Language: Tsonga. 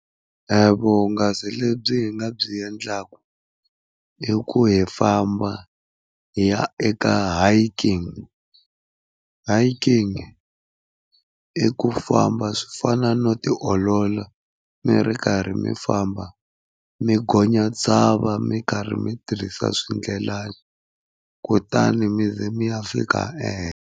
Vuhungasi lebyi hi nga byi endlaka, i ku hi famba hi ya eka hiking. Hiking i ku famba swi fana no tiolola mi ri karhi mi famba mi gonya tshava mi ri karhi mi tirhisa swindlelani kutani mi ze mi ya fika ehenhla.